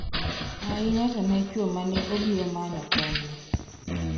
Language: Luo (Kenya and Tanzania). Ainya to ne chuo mane obiro manyo konyne.